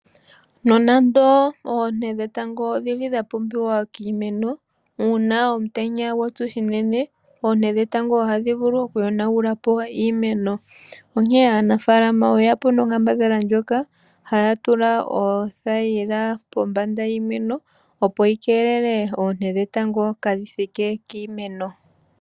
Nonando oonte dhetango odhi li dha pumbiwa kiimeno ,una omutenya gwa tsa unene oonte dhetango ohadhi vulu okuyonagula po iimeno onkene aanafaalama oyeya po noonkambadhala ndjoka haya tula oothayila pombanda yiimeno opo yikelele oonte dhetango kaa dhithike kiimeno.